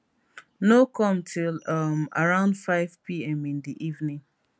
no come till um around 500pm in di evening